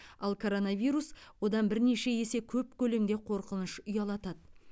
ал коронавирус одан бірнеше есе көп көлемде қорқыныш ұялатады